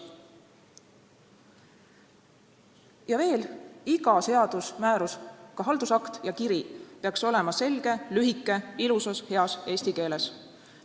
Ja veel: iga seadus, määrus, ka haldusakt ja kiri peaks olema selge, lühike ning ilusas ja heas eesti keeles.